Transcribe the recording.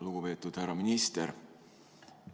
Lugupeetud härra minister!